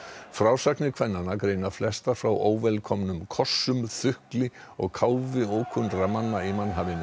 frásagnir kvennanna greina flestar frá óvelkomnum kossum þukli og káfi ókunnugra manna í mannhafinu